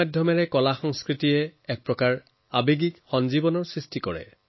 প্ৰযুক্তিৰ জৰিয়তেও সংস্কৃতি আৱেগৰ উদ্দীপনাৰ এক হৈ কাম কৰে